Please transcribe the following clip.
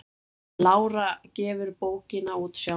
Lára gefur bókina út sjálf.